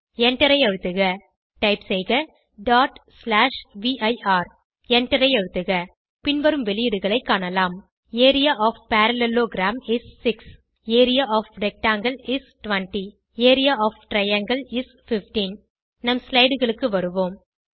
எண்டரை அழுத்துக டைப் செய்க vir எண்டரை அழுத்துக காட்டப்படும் பின்வரும் வெளியீடுகளைக் காணலாம் area of parallelogram is 6 area of rectangle is 20 area of triangle is 15 நம் slideகளுக்கு வருவோம்